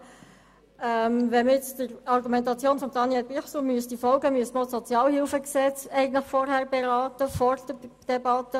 Wollte man der Argumentation von Daniel Bichsel folgen, so müsste man eigentlich auch das Sozialhilfegesetz vor der Debatte über das Budget beraten.